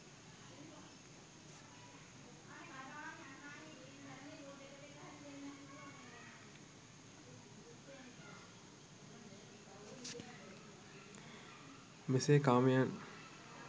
මෙසේ කාමයන්